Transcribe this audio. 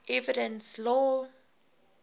evidence law